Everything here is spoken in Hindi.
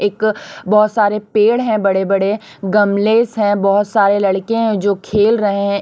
एक बहोत सारे पेड़ है बड़े बड़े गमलेश है बहोत सारे लड़के हैं जो खेल रहे--